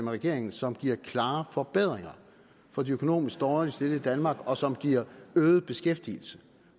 regeringen som giver klare forbedringer for de økonomisk dårligt stillede i danmark og som giver øget beskæftigelse